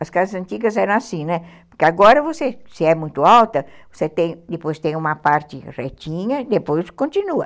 As casas antigas eram assim, né, porque agora se é muito alta, depois tem uma parte retinha e depois continua.